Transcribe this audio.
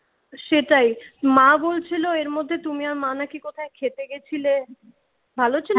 সেটাই মা বলছিল এর মধ্যে তুমি আর মা নাকি কোথায় খেতে গেছিলে? ভালো ছিল?